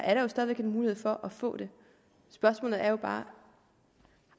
er der jo stadig væk mulighed for at få det spørgsmålet er bare